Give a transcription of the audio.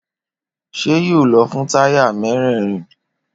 Ṣé yóò lọ fún táyà mérèèrin?